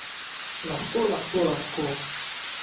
Lahko, lahko, lahko.